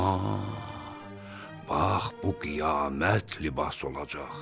Ha, bax bu qiyamət libası olacaq.